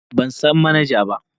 Ban san manaja ba.